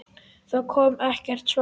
Það kom ekkert svar.